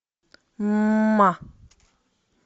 ма